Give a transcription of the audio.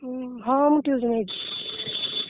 ହୁଁ ହଁ ମୁଁ tuition ହେଇଛି।